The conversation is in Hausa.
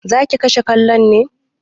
Zaki kashe kallon ne?